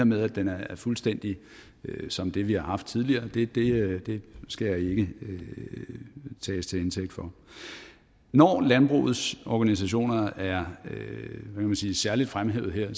med at den er fuldstændig som det vi har haft tidligere skal jeg ikke tages til indtægt for når landbrugets organisationer er særlig fremhævet her